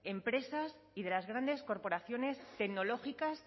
empresas y de las grandes corporaciones tecnológicas